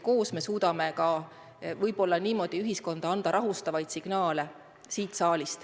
Koos me suudame võib-olla niimoodi saata siit saalist ühiskonda ka rahustavaid signaale.